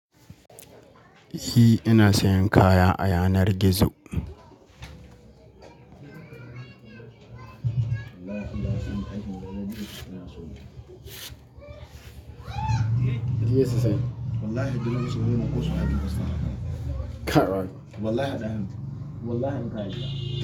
I ina sayan kaya a yanar gizo.